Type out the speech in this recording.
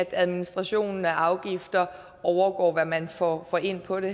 administrationen af afgifter overgår hvad man får ind på det